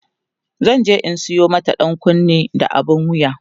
zanje in Sayo mata ɗankunne da abun wuya